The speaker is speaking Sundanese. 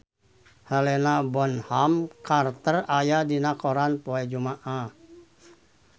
Helena Bonham Carter aya dina koran poe Jumaah